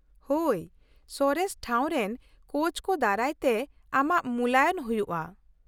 ᱼᱦᱳᱭ, ᱥᱚᱨᱮᱥ ᱴᱷᱟᱣ ᱨᱮᱱ ᱠᱳᱪᱠᱚ ᱫᱟᱨᱟᱭ ᱛᱮ ᱟᱢᱟᱜ ᱢᱩᱞᱟᱭᱚᱱ ᱦᱩᱭᱩᱜᱼᱟ ᱾